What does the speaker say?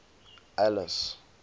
alice